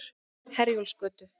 Herjólfsgötu